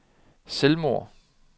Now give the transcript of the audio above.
selvmord